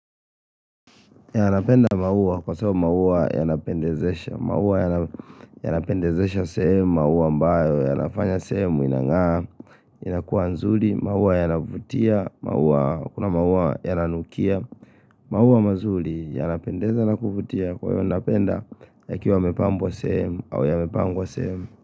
Yeah, napenda maua kwa sababu maua yanapendezesha. Maua yanapendezesha sehemu, maua ambayo yanafanya sehemu inang'aa inakuwa nzuri, maua yanavutia Kuna maua yananukia maua mazuri yanapendeza na kuvutia Kwa hivyo napenda yakiwa yamepambwa sehemu au yamepangwa sehemu.